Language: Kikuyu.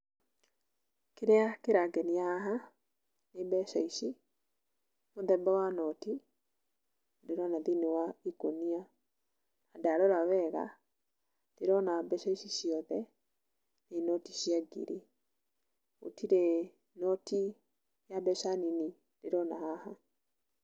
Kĩrĩa kĩrangenia haha, nĩ mbeca ici, mũthemba wa noti, ndĩrona thĩinĩ wa ikũnia. Ndarora wega, ndĩrona mbeca ici ciothe, nĩ noti cia ngiri, gũtirĩ noti ya mbeca nini ndĩrona haha.